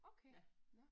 Okay! Nåh